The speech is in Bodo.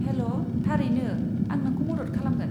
हेल', थारैनो, आं नोंखौ मदद खालामगोन।